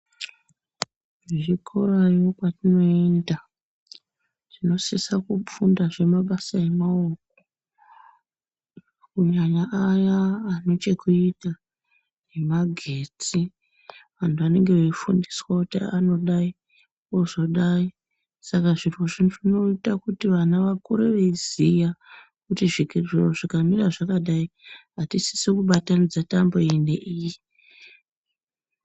Kuzvikorayo kwatoenda tinosisa kufundazve mabasa emaoko kunyanya aya anechekita nemagetsi vandu vanenge veifundiswa kuti anodai ozodai saka zviro izvi zvinota kuti vana vakure veiziya kuti zviro zvikamira zvakadayi atisisi kubatanidza tambo iyi neiyi